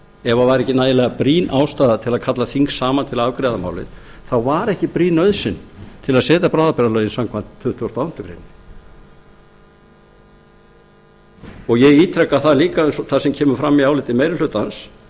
ef það var ekki nægilega brýn ástæða til að kalla þing saman til að afgreiða málið þá var ekki brýn nauðsyn til að setja bráðabirgðalögin samkvæmt tuttugustu og áttundu grein ég ítreka líka það sem kemur fram í áliti meiri hlutans